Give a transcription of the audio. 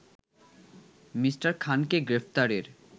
Me. খানকে গ্রেপ্তারের